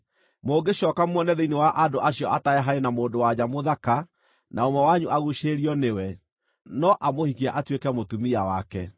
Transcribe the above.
mũngĩcooka muone thĩinĩ wa andũ acio atahe harĩ na mũndũ-wa-nja mũthaka na ũmwe wanyu aguucĩrĩrio nĩwe, no amũhikie atuĩke mũtumia wake.